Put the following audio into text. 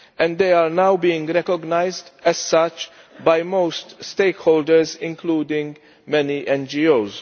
They are now being recognised as such by most of the stakeholders, including many NGOs.